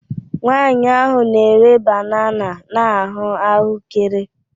Nwaanyị ahụ na-ere banana na ahụ ahụekere